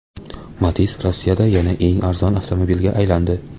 Matiz Rossiyada yana eng arzon avtomobilga aylandi.